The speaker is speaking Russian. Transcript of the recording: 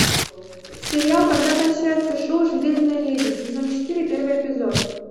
сериал когда кончается шоу железная леди сезон четыре первый эпизод